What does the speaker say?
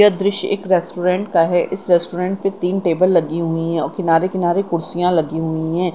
यह दृश्य एक रेस्टोरेंट का है इस रेस्टोरेंट पे तीन टेबल लगी हुई है और किनारे किनारे कुर्सिया लगी हुई हैं।